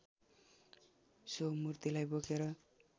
so मूर्तिलाई बोकेर